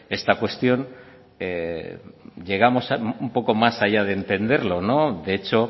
esta cuestión llegamos un poco más allá de entenderlo de hecho